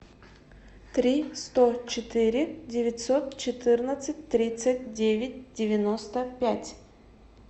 три сто четыре девятьсот четырнадцать тридцать девять девяносто пять